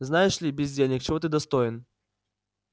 знаешь ли бездельник чего ты достоин